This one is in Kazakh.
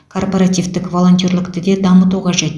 корпоративтік волонтерлікті де дамыту қажет